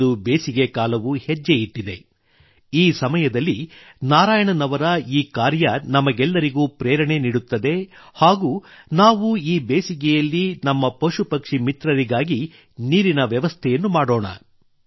ಇಂದು ಬೇಸಿಗೆ ಕಾಲವು ಹೆಜ್ಜೆಯಿಟ್ಟಿದೆ ಈ ಸಮಯದಲ್ಲಿ ನಾರಾಯಣನ್ ಅವರ ಈ ಕಾರ್ಯ ನಮಗೆಲ್ಲರಿಗೂ ಪ್ರೇರಣೆ ನೀಡುತ್ತದೆ ಹಾಗೂ ನಾವೂ ಈ ಬೇಸಿಗೆಯಲ್ಲಿ ನಮ್ಮ ಪಶುಪಕ್ಷಿ ಮಿತ್ರರಿಗಾಗಿ ನೀರಿನ ವ್ಯವಸ್ಥೆಯನ್ನು ಮಾಡೋಣ